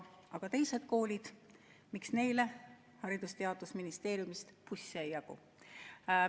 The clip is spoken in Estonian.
Aga teised koolid, miks neile Haridus- ja Teadusministeeriumist busse ei jagu?